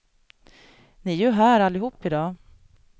Ni är ju här allihop i dag.